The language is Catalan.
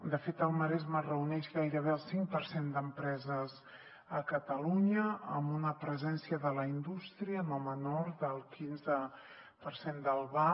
de fet el maresme reuneix gairebé el cinc per cent d’empreses a catalunya amb una presència de la indústria no menor del quinze per cent del vab